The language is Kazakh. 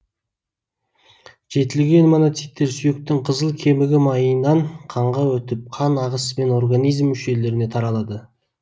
жетілген моноциттер сүйектің қызыл кемігі майынан қанға өтіп қан ағысымен организм мүшелеріне таралады